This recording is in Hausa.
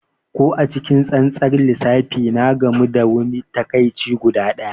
Ko a cikin tsantsar lissafi, ya gamu da wani takaici guda ɗaya.